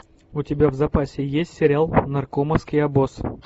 у тебя в запасе есть сериал наркомовский обоз